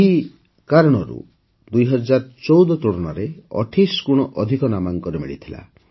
ଏହି କାରଣରୁ ଏଥର ୨୦୧୪ ତୁଳନାରେ ୨୮ ଗୁଣ ଅଧିକ ନାମାଙ୍କନ ମିଳିଥିଲା